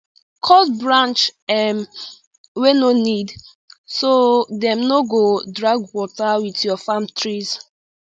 cut branch um wey no need so dem no go drag water with your farm trees